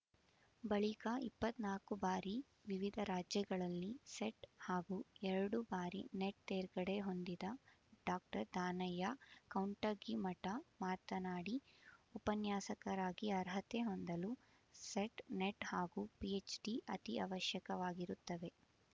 ಬಳಿಕ ಇಪ್ಪತ್ತ್ ನಾಕು ಬಾರಿ ವಿವಿಧ ರಾಜ್ಯಗಳಲ್ಲಿ ಸೆಟ್ ಹಾಗೂ ಎರಡು ಬಾರಿ ನೆಟ್ ತೇರ್ಗಡೆ ಹೊಂದಿದ ಡಾಕ್ಟರ್ ದಾನಯ್ಯ ಕೌಂಟಗಿಮಠ ಮಾತನಾಡಿ ಉಪನ್ಯಾಸಕರಾಗಿ ಅರ್ಹತೆ ಹೊಂದಲು ಸೆಟ್ ನೆಟ್ ಹಾಗೂ ಪಿಎಚ್ ಡಿ ಅತಿ ಅವಶ್ಯಕವಾಗಿರುತ್ತವೆ